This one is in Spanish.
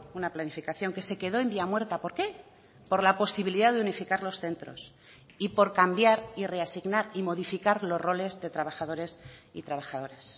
una planificación que se quedó en vía muerta por qué por la posibilidad de unificar los centros y por cambiar y reasignar y modificar los roles de trabajadores y trabajadoras